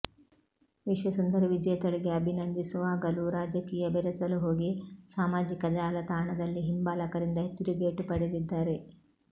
ವಿಶ್ವಸುಂದರಿ ವಿಜೇತಳಿಗೆ ಅಭಿನಂದಿಸುವಾಗಲೂ ರಾಜಕೀಯ ಬೆರೆಸಲು ಹೋಗಿ ಸಾಮಾಜಿಕ ಜಾಲತಾಣದಲ್ಲಿ ಹಿಂಬಾಲಕರಿಂದ ತಿರುಗೇಟು ಪಡೆದಿದ್ದಾರೆ